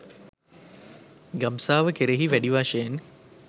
ගබ්සාව කෙරෙහි වැඩි වශයෙන්